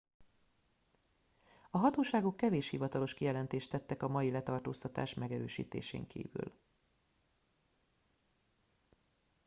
a hatóságok kevés hivatalos kijelentést tettek a mai letartóztatás megerősítésén kívül